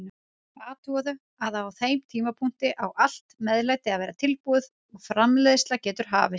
Athugaðu að á þeim tímapunkti á allt meðlæti að vera tilbúið og framreiðsla getur hafist.